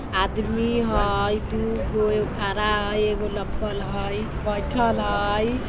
आदमी हई दूगो एगो खड़ा हई एगो लप्पल हई बैठएल हई।